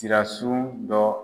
Sira su dɔ